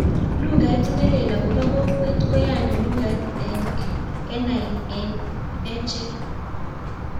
Lugait nelel ab kokwet koyani lugait ak kenai eng echek.